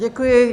Děkuji.